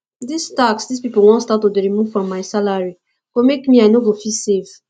dis tax dis people wan start to dey remove from my salary go make me i no go fit save